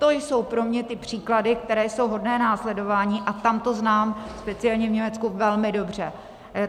To jsou pro mě ty příklady, které jsou hodné následování, a tam to znám, speciálně v Německu, velmi dobře.